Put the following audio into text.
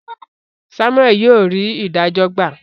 Samuel yíò rí idajo gba